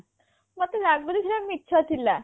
ମତେ ଲାଗୁଛି ସେ ଯା ମିଛ ଥିଲା